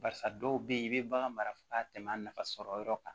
Barisa dɔw bɛ yen i bɛ bagan mara ka tɛmɛ a nafa sɔrɔ yɔrɔ kan